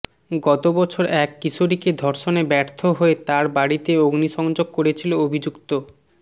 গত বছর এক কিশোরীকে ধর্ষণে ব্যর্থ হয়ে তার বাড়িতে অগ্নিসংযোগ করেছিল অভিযুক্ত